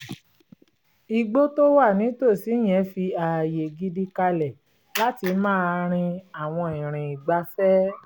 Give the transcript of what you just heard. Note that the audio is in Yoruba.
igbó tó wà nítòsí yẹn fi ààyè gidi kalẹ̀ láti máa rin àwọn ìrìn ìgbafẹ́